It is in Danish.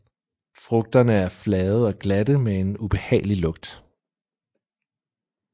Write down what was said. Frugterne er flade og glatte med en ubehagelig lugt